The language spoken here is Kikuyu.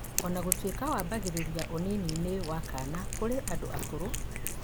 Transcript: ona gũtuĩka kaingĩ wambagĩrĩria ũnini-inĩ kana kũrĩ andũ akũrũ